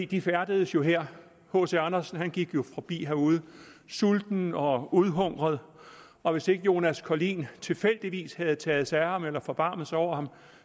de færdedes jo her hc andersen gik forbi herude sulten og udhungret og hvis ikke jonas collin tilfældigvis havde taget sig af ham eller forbarmet sig over ham